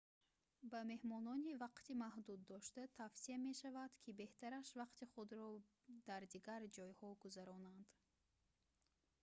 ба меҳмонони вақти маҳдуд дошта тавсия мешавад ки беҳтараш вақти худро дар дигар ҷойҳо гузаронанд